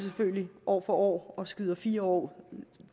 år for år og skyder det fire år